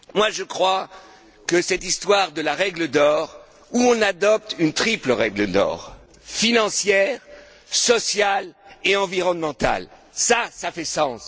Je crois que cette histoire de la règle d'or où on adopte une triple règle d'or, financière, sociale et environnementale, fait sens.